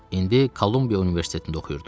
İndi Kolumbiya Universitetində oxuyurdu